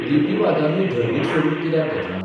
लिपीवादानूय धर्मीक स्वरूप कित्याक घेतलां?